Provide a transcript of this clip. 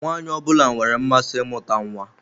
Nwaanyị ọ bụla nwere mmasị imuta nwa.